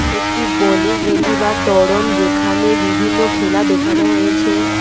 একটি বোলিং এলি বা ত্বরণ যেখানে বিভিন্ন খেলা দেখানো হয়েছে।